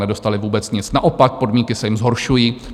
Nedostali vůbec nic, naopak, podmínky se jim zhoršují.